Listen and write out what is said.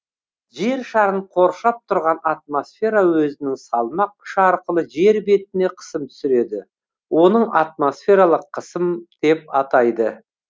жер шарын коршап тұрған атмосфера өзінің салмақ күші арқылы жер бетіне қысым түсіреді оны атмосфералық қысым деп атайды